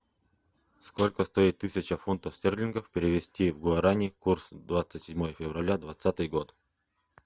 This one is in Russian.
сколько стоит тысяча фунтов стерлингов перевести в гуарани курс двадцать седьмое февраля двадцатый год